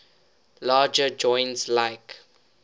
larger joints like